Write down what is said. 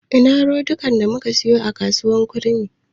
Ina rodikan da muka siyo a kasuwar kurmi?